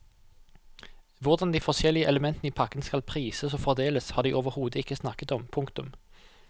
Hvordan de forskjellige elementene i pakken skal prises og fordeles har de overhodet ikke snakket om. punktum